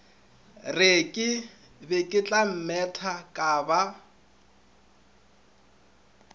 re ke beketlammetha ka ba